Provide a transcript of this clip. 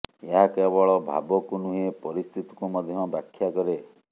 ଏହା କେବଳ ଭାବକୁ ନୁହେଁ ପରିସ୍ଥିତିକୁ ମଧ୍ୟ ବ୍ୟାଖ୍ୟା କରେ